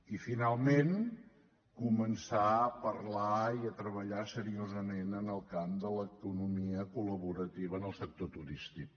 i finalment començar a parlar i a treballar seriosament en el camp de l’economia col·laborativa en el sector turístic